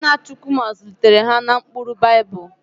Nna Chukwuma zụlitere ha n'ụkpụrụ Baịbụl.m